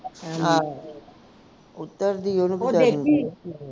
ਉਹ ਡਿੱਗ ਪਈ ਦੇਖੀ ਸੀ